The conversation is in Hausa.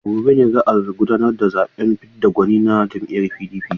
A gobe ne za a gudanar da zaɓen fidda gwani na jam'iyyar PDP.